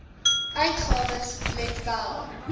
uitgawes let wel